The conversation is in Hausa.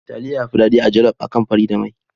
Taliya yafi daɗi a jaluf akan fari da mai.